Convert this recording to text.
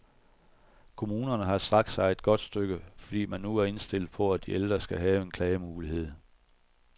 Kommunerne har strakt sig et godt stykke, fordi man nu er indstillet på, at de ældre skal have en klagemulighed.